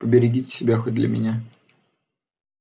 поберегите себя хоть для меня